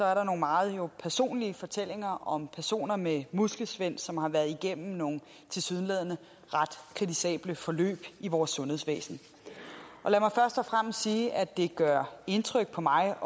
er der nogle meget personlige fortællinger om personer med muskelsvind som har været igennem nogle tilsyneladende ret kritisable forløb i vores sundhedsvæsen lad mig først og fremmest sige at det gør indtryk på mig